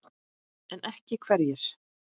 En ekki hverjir?